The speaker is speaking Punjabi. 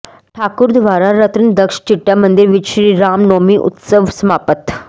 ਠਾਕੁਰ ਦਵਾਰਾ ਰਤਨਦਕਸ਼ ਚਿੱਟਾ ਮੰਦਿਰ ਵਿਚ ਸ੍ਰੀਰਾਮ ਨੌਮੀ ਉਤਸਵ ਸਮਾਪਤ